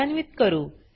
कार्यान्वीत करू